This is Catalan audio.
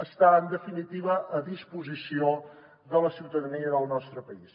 està en definitiva a disposició de la ciutadania del nostre país